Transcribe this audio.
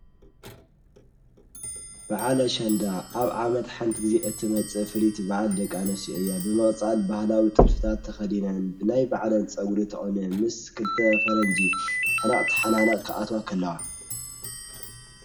በዓለ ሻንዳ ኣብ ዓመት ሓንቲ ጊዜ እቲ መጽ ፍሊት በዓል ደቃ ነስ ያ ብመቕፃል ብሃላዊ ጥልፍታት ተኸዲናን ብናይ በዕለን ጸጕሪ ተዖነ ምስ ክልተ ፈረንጅ ሕናቕቲ ሓናናቕ ክኣት ኸልዋ።